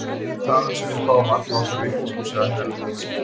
Þaðan sem við fáum alla okkar vitneskju, sagði Herra Luigi.